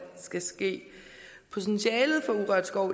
potentialet for urørt skov